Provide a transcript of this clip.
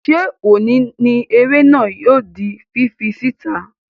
Ṣé òní ni eré náà yóò di fífi sí ìta?